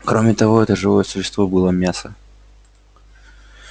кроме того это живое существо было мясо